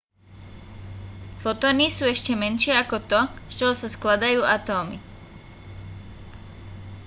fotóny sú ešte menšie ako to z čoho sa skladajú atómy